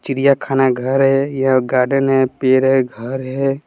चिड़िया खाना घर है यह गार्डन है पेड़ है घर है।